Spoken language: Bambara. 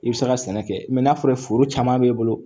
I bɛ se ka sɛnɛ kɛ n'a fɔra foro caman b'e bolo